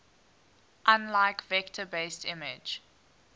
unlike vector based image